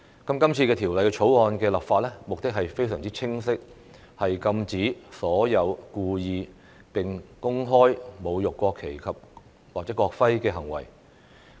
今次《條例草案》的立法目的非常清晰，是禁止所有故意並公開侮辱國旗或國徽的行為。